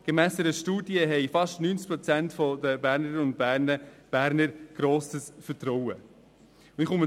Gemäss einer Studie haben fast 90 Prozent der Bernerinnen und Berner grosses Vertrauen in sie.